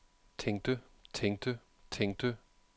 tænkte tænkte tænkte